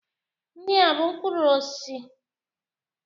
Ndị a bụ mkpụrụ osisi?